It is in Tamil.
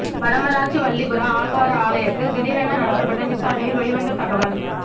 வடமராட்சி வல்லிபுர ஆழ்வார் ஆலயத்தில் திடீரென நடத்தப்பட்ட விசாரணையில் வெளிவந்த தகவல்